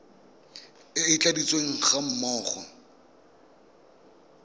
e e tladitsweng ga mmogo